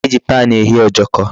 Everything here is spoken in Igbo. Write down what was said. E ji pan eghe Ojoko